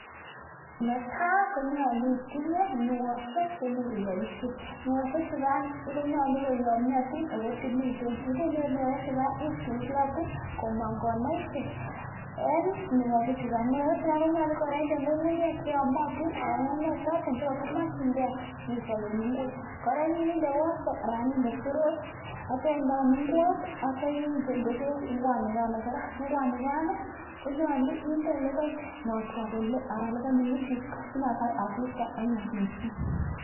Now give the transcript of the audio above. netai komeche itinye nuashek chepaishe konyalu koyamyatin ako tililen akitui komang konaishek yache kora inde nyukunyek choto chemakchinike sipichapee ngwek